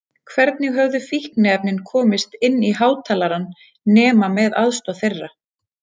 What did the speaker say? Hvernig höfðu fíkniefnin komist inn í hátalarann nema með aðstoð þeirra?